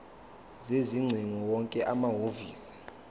sezingcingo wonke amahhovisi